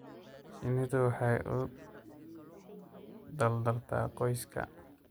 Shinnidu waxay u dadaaltaa qoyska.